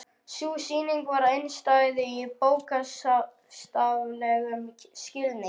Sú sýning var einstæð í bókstaflegum skilningi.